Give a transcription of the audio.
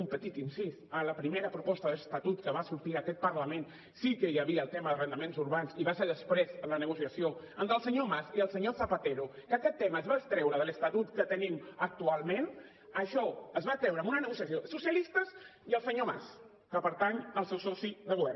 un petit incís a la primera proposta d’estatut que va sortir d’aquest parlament sí que hi havia el tema d’arrendaments urbans i va ser després en la negociació entre el senyor mas i el senyor zapatero que aquest tema es va extreure de l’estatut que tenim actualment això es va treure en una negociació socialistes i el senyor mas que pertany al seu soci de govern